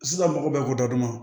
Sisan mɔgɔw bɛ ko daduguma